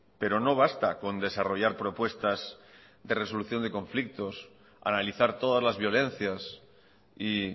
pero no basta con desarrollar propuestas de resolución de conflictos analizar todas las violencias y